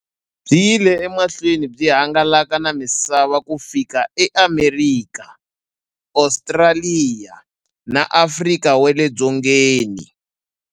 Byi yile emahlweni byi hangalaka na misava ku fika e Amerika, Ostraliya na Afrika wale dzongeni.